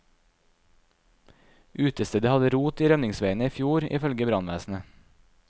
Utestedet hadde rot i rømningsveiene i fjor, ifølge brannvesenet.